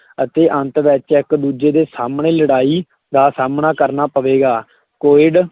ਅਤੇ ਅੰਤ ਵਿੱਚ ਇੱਕ ਦੂਜੇ ਦੇ ਸਾਹਮਣੇ ਲੜਾਈ ਦਾ ਸਾਹਮਣਾ ਕਰਨਾ ਪਵੇਗਾ, ਕੋਇਡ,